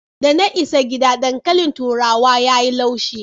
Da na isa gida, dankalin turawa ya yi laushi.